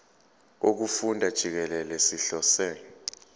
wokufunda jikelele sihlose